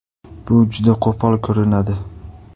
Bu juda qo‘pol ko‘rinadi.